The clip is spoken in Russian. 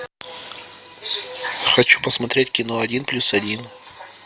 хочу посмотреть кино один плюс один